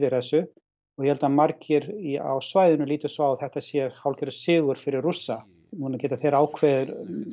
þessu og ég held að margir á svæðinu líti svo á að þetta sé hálfgerður sigur fyrir Rússa núna geta þeir ákveðið